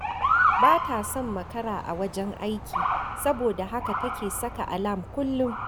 Ba ta son makara a wajen aiki saboda haka take saka alam kullum